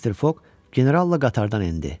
Mister Foq generalla qatardan endi.